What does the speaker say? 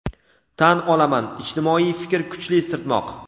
Tan olaman, ijtimoiy fikr kuchli sirtmoq.